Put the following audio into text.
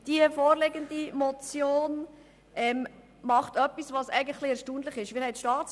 Die vorliegende Motion tut etwas Erstaunliches.